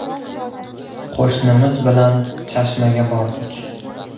Qo‘shnimiz bilan Chashmaga bordik.